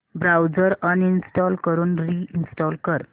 browser uninstall करून reinstall कर